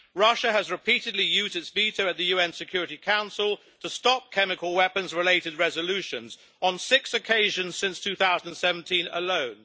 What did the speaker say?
Russia has repeatedly used its veto at the UN Security Council to stop chemical weapons related resolutions on six occasions since 2017 alone.